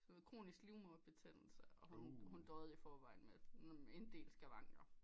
Sådan noget kronisk livmoderbetændelse og hun døjede i forvejen med en del skavankler